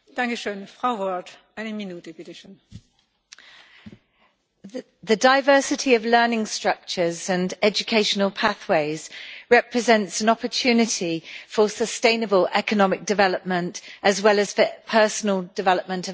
Madam President, the diversity of learning structures and educational pathways represents an opportunity for sustainable economic development as well as for personal development of learners and citizens.